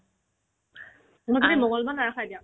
তোমাৰ যদি মংগলবাৰ নাৰাখা এতিয়া